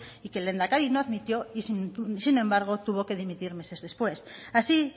y que el lehendakari no admitió y sin embargo tuvo que dimitir meses después así